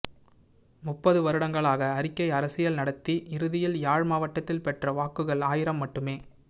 முப்பது வருடங்களாக அறிக்கை அரசியல் நடத்தி இறுதியில் யாழ் மாவட்டத்தில் பெற்ற வாக்குகள் ஆயிரம் மட்டுமே